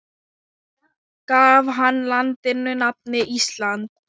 Gaf hann landinu nafnið Ísland.